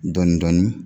Dɔɔnin-dɔɔnin